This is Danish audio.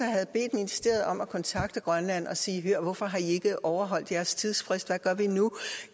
ministeriet om at kontakte grønland og sige hør hvorfor har i ikke overholdt jeres tidsfrist hvad gør vi nu